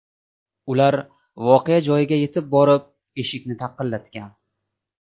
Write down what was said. Ular voqea joyiga yetib borib, eshikni taqillatgan.